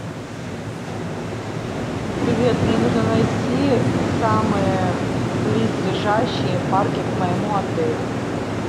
привет мне нужно найти самые близлежащие парки к моему отелю